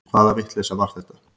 Hvaða vitleysa var þetta?